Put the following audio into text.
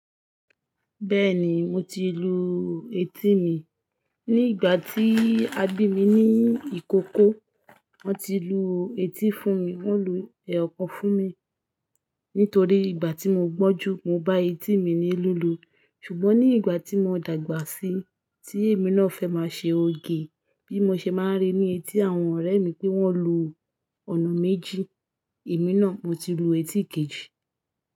Bẹ́ẹ̀ni mo ti lu etí mi. Ni ìgbà tí a bí mi ní ìkókó, wọn ti lu etí fún mi. Wọ́n lu ẹyọkan fún mi. Nítorí ìgbà tí mo gbọ́njú mo bá etí mi ní lílù. Ṣùgbọ́n ní ìgbà tí mo dàgbà síi, tí èmi náà fẹ́ máa ṣe òge bí mo ṣe máa ń rí ní etí àwọn ọ̀rẹ́ mi pé wọ́n lu ọ̀nà méjì, èmi náà mo ti lu etí kejì.